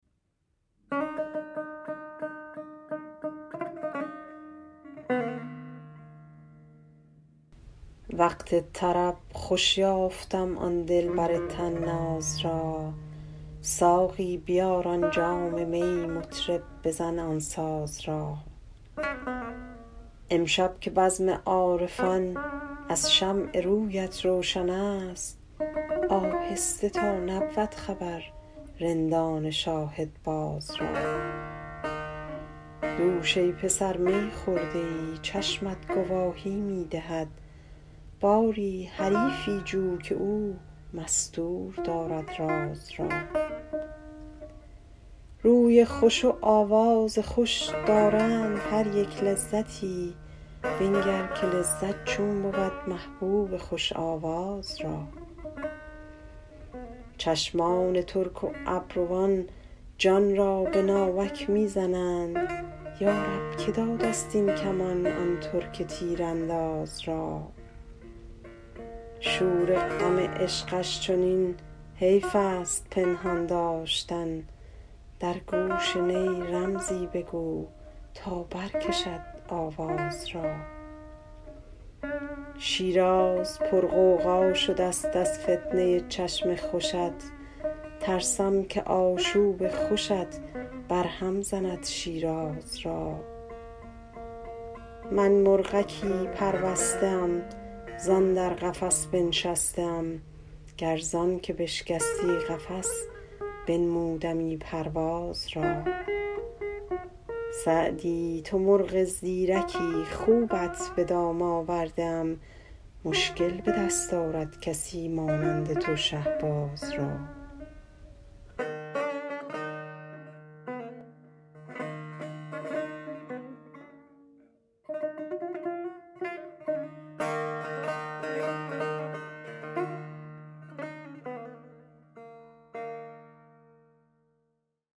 وقت طرب خوش یافتم آن دلبر طناز را ساقی بیار آن جام می مطرب بزن آن ساز را امشب که بزم عارفان از شمع رویت روشن است آهسته تا نبود خبر رندان شاهدباز را دوش ای پسر می خورده ای چشمت گواهی می دهد باری حریفی جو که او مستور دارد راز را روی خوش و آواز خوش دارند هر یک لذتی بنگر که لذت چون بود محبوب خوش آواز را چشمان ترک و ابروان جان را به ناوک می زنند یا رب که داده ست این کمان آن ترک تیرانداز را شور غم عشقش چنین حیف است پنهان داشتن در گوش نی رمزی بگو تا برکشد آواز را شیراز پرغوغا شده ست از فتنه ی چشم خوشت ترسم که آشوب خوشت برهم زند شیراز را من مرغکی پربسته ام زان در قفس بنشسته ام گر زان که بشکستی قفس بنمودمی پرواز را سعدی تو مرغ زیرکی خوبت به دام آورده ام مشکل به دست آرد کسی مانند تو شهباز را